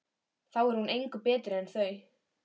Þá er hún engu betri en þau.